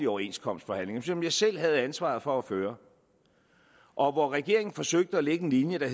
overenskomstforhandlinger som jeg selv havde ansvaret for at føre og hvor regeringen forsøgte at lægge en linje der